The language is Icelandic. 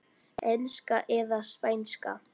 Enska eða Spænska?